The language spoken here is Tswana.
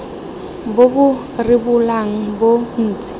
bo bo rebolang bo ntse